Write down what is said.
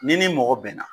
Ni ni mɔgɔ bɛnna